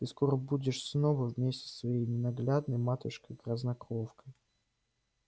ты скоро снова будешь вместе со своей ненаглядной матушкой-грязнокровкой